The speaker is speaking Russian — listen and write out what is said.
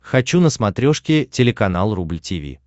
хочу на смотрешке телеканал рубль ти ви